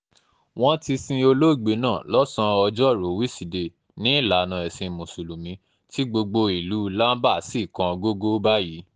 wọ́n ti sin olóògbé náà lọ́sàn-án ọjọ́rùú wíṣídẹ̀ẹ́ ní ìlànà ẹ̀sìn mùsùlùmí tí gbogbo um ìlú lamba sì kan um gogò báyìí